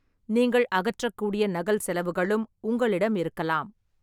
நீங்கள் அகற்றக்கூடிய நகல் செலவுகளும் உங்களிடம் இருக்கலாம்.